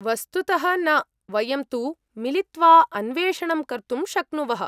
वस्तुतः न। वयं तु मिलित्वा अन्वेषणं कर्तुं शक्नुवः।